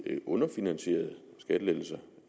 underfinansierede skattelettelser